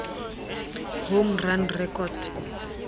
home run record